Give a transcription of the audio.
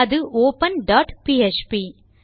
அது open dot PHP